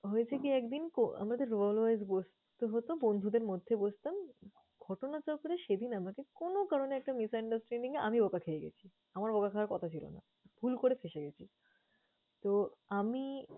হয়েছে কি একদিন, আমাদের role wise বসতে হতো, বন্ধুদের মধ্যে বসতাম। ঘটনাচক্রে সেদিন আমাকে কোন কারণে একটা misunderstanding এ আমি বকা খেয়ে গেছি, আমার বকা খাওয়ার কথা ছিল না। ভুল করে ফেসে গেছি। তো আমি